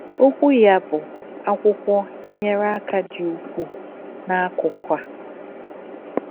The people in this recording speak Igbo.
Okwu ya, bụ́ akwụkwọ, nyere aka dị ukwuu n'akụkụ a.